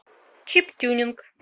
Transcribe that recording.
чип тюнинг